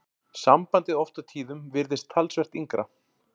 Sambandið oft á tíðum virðist talsvert yngra.